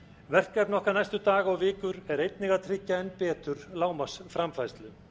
verkefni okkar næstu daga og vikur er einnig að tryggja enn betur lágmarks framfærslu